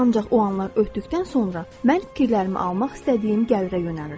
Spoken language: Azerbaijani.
Ancaq o anlar ötdükdən sonra mən fikirlərimi almaq istədiyim gəlirə yönəlirdim.